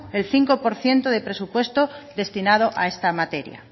el cinco por ciento de presupuesto destinado a esta materia